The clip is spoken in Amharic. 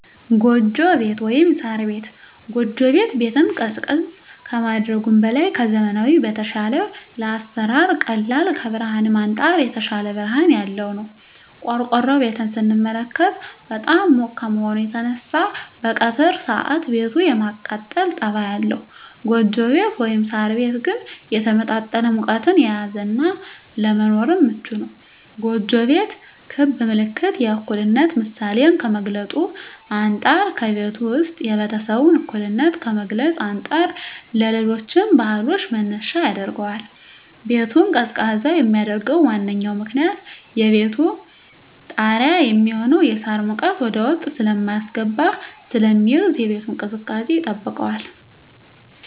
ጎጆ ቤት(ሳር ቤት)። ጎጆ ቤት ቤትን ቀዝቃዛ ከማድረጉም በላይ ከዘመናዊዉ በተሻለ ለአሰራር ቀላል ከብርሀንም አንፃር የተሻለ ብርሀን ያለዉ ነዉ። ቆርቆሮ ቤትን ስንመለከት በጣም ሙቅ ከመሆኑ የተነሳ በቀትር ሰአት ቤቱ የማቃጠል ፀባይ አለዉ ጎጆ ቤት (ሳር ቤት) ግን የተመጣጠነ ሙቀትን የያዘ እና ለመኖርም ምቹ ነዉ። ጎጆ ቤት ክብ ምልክት የእኩልነት ምሳሌን ከመግልፁ አንፃ ከቤቱ ዉስጥ የቤተሰቡን እኩልነት ከመግለፅ አንፃር ለሌሎች ባህሎችም መነሻ ያደርገዋል። ቤቱን ቀዝቃዛ የሚያደርገዉ ዋነኛዉ ምክንያት ከቤቱ ጣሪያ የሚሆነዉ የሳር ሙቀት ወደዉስጥ ሳይስገባ ስለሚይዝ የቤቱን ቅዝቃዜ ይጠብቃል።